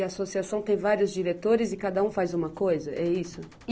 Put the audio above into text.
E a associação tem vários diretores e cada um faz uma coisa, é isso?